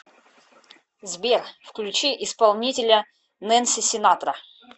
сбер включи исполнителя нэнси синатра